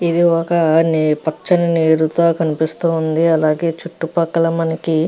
ఇది ఒక నే పచ్చని నీరుతో కనిపిస్తోంది. అలాగే చుట్టుపక్కల మనకి --